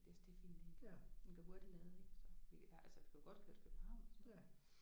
Det er også det er fint egentlig. Den kan hurtigt lade ik så vi altså vi kan jo godt køre til København og sådan noget